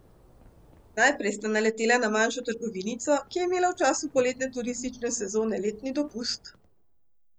Najprej sta naletela na manjšo trgovinico, ki je imela v času poletne turistične sezone letni dopust.